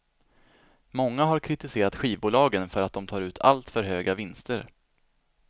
Många har kritiserat skivbolagen för att de tar ut allt för höga vinster.